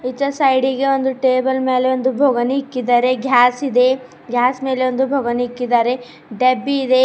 ಈಚೆ ಸೈಡ್ ಗೆ ಟೇಬಲ್ ಮೇಲೆ ಒಂದು ಬುಗಣಿ ಇಕ್ಕಿದ್ದಾರೆ ಗ್ಯಾಸ್ ಇದೆ ಗ್ಯಾಸ್ ಮೇಲೆ ಒಂದು ಬುಗಣಿ ಇಕ್ಕಿದ್ದಾರೆ ಡಬ್ಬಿ ಇದೆ.